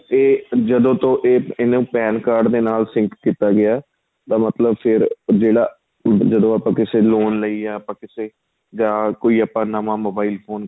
ਏ ਜਦੋਂ ਤੋ ਇਹਨੂੰ PAN card ਦੇ ਨਾਲ sink ਕੀਤਾ ਗਿਆ ਏ ਤਾਂ ਮਤਲਬ ਫ਼ੇਰ ਜਿਹੜਾ ਜਦੋਂ ਆਪਾਂ ਕਿਸੇ loan ਲਈ ਜਾਂ ਕਿਸੇ ਜਾਂ ਕੋਈ ਆਪਾਂ ਨਵਾਂ mobile ਫੋਨ